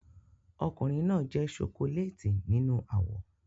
Ọkùnrin náà jẹ́ ṣokoléètì nínú àwọ̀